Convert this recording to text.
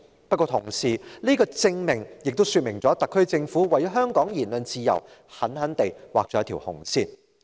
不過，這個證明同時說明特區政府為香港的言論自由，狠狠地劃下一條"紅線"。